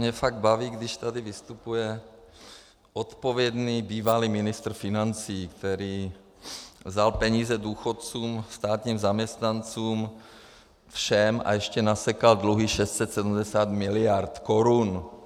Mě fakt baví, když tady vystupuje odpovědný bývalý ministr financí, který vzal peníze důchodcům, státním zaměstnancům, všem, a ještě nasekal dluhy 670 miliard korun.